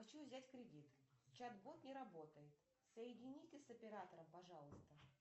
хочу взять кредит чат бот не работает соедините с оператором пожалуйста